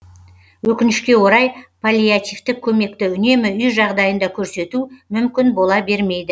өкінішке орай паллиативтік көмекті үнемі үй жағдайында көрсету мүмкін бола бермейді